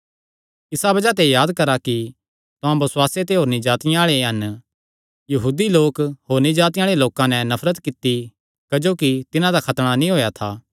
इसा बज़ाह ते याद करा कि तुहां बसुआसे ते होरनी जातिआं आल़े हन यहूदी लोकां होरनी जातिआं आल़े लोकां नैं नफरत कित्ती क्जोकि तिन्हां दा खतणा नीं होएया था